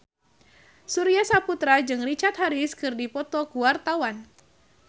Surya Saputra jeung Richard Harris keur dipoto ku wartawan